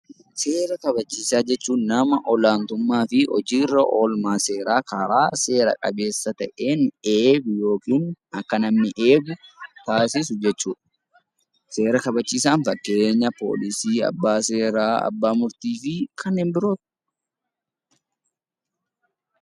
Seera kabachiisaa jechuun nama olaantummaa fi hojiirra oolmaa seeraa karaa seera qabeessa ta'een eeguu yookiin akka namni eegu taasisu jechuudha. Seera kabachiisaan fakkeenya poolisii, abbaa seeraa , abbaa murtii fi kanneen biroodha.